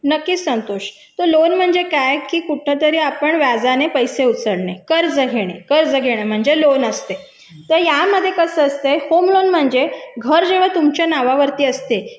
नक्कीच संतोष तर लोन म्हणजे काय की कुठेतरी आपण व्याजाने पैसे उचलणे कर्ज घेणे कर्ज घेणे म्हणजे लोन असते तर यामध्ये कसं असतं होम लोन म्हणजे घर जेव्हा तुमच्या नावावरती असते